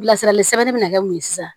Bilasirali sɛbɛnni bɛ na kɛ mun ye sisan